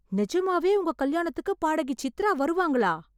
நிஜமாவே உங்க கல்யாணத்துக்கு பாடகி சித்ரா வருவாங்களா?